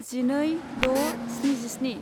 जिनै द' स्निजिस्नि